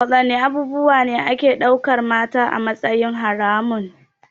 Wadanne abubuwa ne ake daukar mata a matsayin haramun?